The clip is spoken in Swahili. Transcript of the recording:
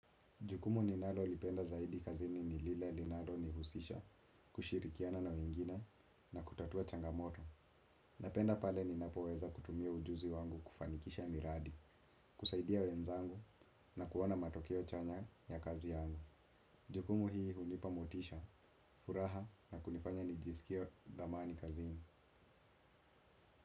Jukumu ninalolipenda zaidi kazini ni lile linalonihusisha kushirikiana na wengine na kutatua changamoto. Napenda pale ninapoweza kutumia ujuzi wangu kufanikisha miradi, kusaidia wenzangu na kuona matokeo chanya ya kazi yangu. Jukumu hii hunipa motisha, furaha na kunifanya nijisikie thamani kazini.